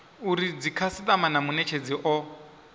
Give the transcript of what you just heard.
uri dzikhasitama na munetshedzi o